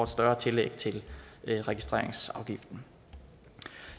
større tillæg til registreringsafgiften